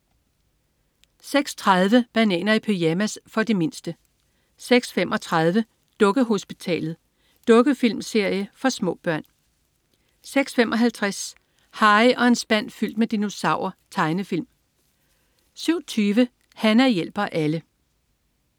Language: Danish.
06.30 Bananer i pyjamas. For de mindste 06.35 Dukkehospitalet. Dukkefilmserie for små børn 06.55 Harry og en spand fyldt med dinosaurer. Tegnefilm 07.20 Hana hjælper alle